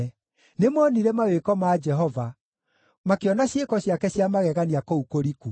Nĩmoonire mawĩko ma Jehova, makĩona ciĩko ciake cia magegania kũu kũriku.